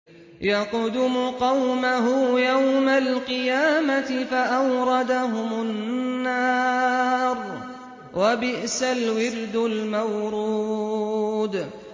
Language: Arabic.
يَقْدُمُ قَوْمَهُ يَوْمَ الْقِيَامَةِ فَأَوْرَدَهُمُ النَّارَ ۖ وَبِئْسَ الْوِرْدُ الْمَوْرُودُ